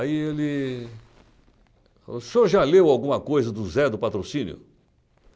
Aí ele falou, o senhor já leu alguma coisa do Zé do Patrocínio?